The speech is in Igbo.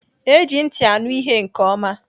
Eji ntị anụ ihe nke oma